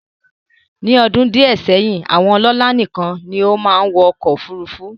Ní ọdún díẹ̀ sẹ́yìn, àwọn ọlọ́lá nìkan ni ó máa ń wọ ọkọ̀ òfurufú